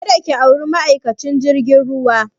Ka da ki auri ma'aikacin jirgin ruwa!